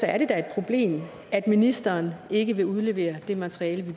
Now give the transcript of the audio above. er det da et problem at ministeren ikke vil udlevere det materiale